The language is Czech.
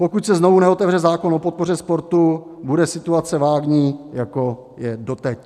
Pokud se znovu neotevře zákon o podpoře sportu, bude situace vágní, jako je doteď.